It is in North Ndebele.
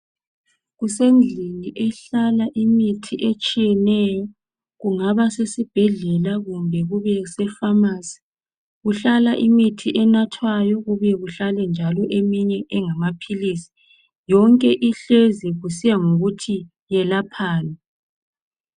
Kusendlini ehlala imithi etshiyeneyo kungaba sesibhedlela kumbe kubese "pharmacy".Kuhlala imithi enathwayo kubuye kuhlale njalo eminye engamaphilisi. Yonke ihlezi kusiya ngokuthi iyelaphani.